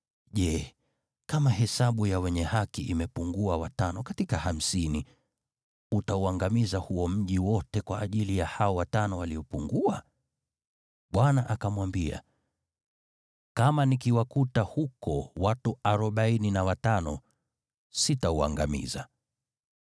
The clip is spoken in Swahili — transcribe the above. je, kama hesabu ya wenye haki imepungua watano katika hamsini, utauangamiza huo mji wote kwa ajili ya hao watano waliopungua?” Bwana akamwambia, “Kama nikiwakuta huko watu arobaini na watano, sitauangamiza.”